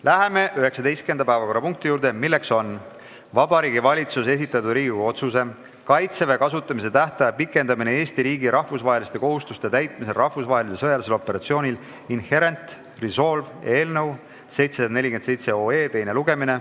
Läheme 19. päevakorrapunkti juurde, milleks on Vabariigi Valitsuse esitatud Riigikogu otsuse "Kaitseväe kasutamise tähtaja pikendamine Eesti riigi rahvusvaheliste kohustuste täitmisel rahvusvahelisel sõjalisel operatsioonil Inherent Resolve" eelnõu teine lugemine.